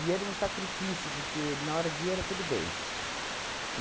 era um sacrifício, porque, na hora de ir, era tudo bem.